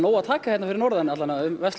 að taka hérna fyrir norðan um Versló